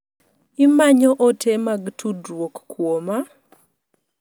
Imanyo ote mag tudruok kuoma?